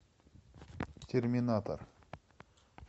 терминатор